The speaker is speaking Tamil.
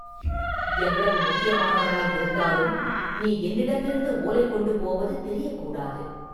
எவ்வளவு முக்கியமானவராயிருந்தாலும் நீ என்னிடமிருந்து ஓலை கொண்டு போவது தெரியக்கூடாது.